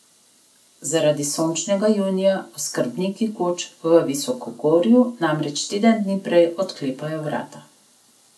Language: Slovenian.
Zaradi sončnega junija oskrbniki koč v visokogorju namreč teden dni prej odklepajo vrata.